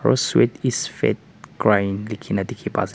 sweet is fat crying likhe na dekhi pai ase.